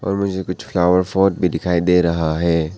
और मुझे कुछ फ्लावर पॉट भी दिखाई दे रहा है।